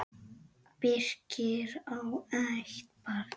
Birkir á eitt barn.